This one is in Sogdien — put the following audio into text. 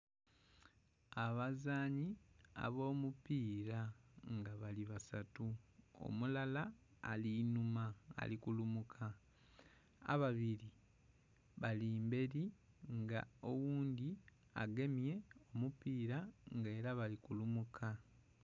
Abazanhi abo mupita nga bali basatu, omulala ali inhuma ali kulumuka ababiri bali mberi nga oghundhi agemye omupira nga era bali kulumuka.